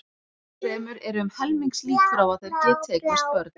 Enn fremur eru um helmingslíkur á að þeir geti eignast börn.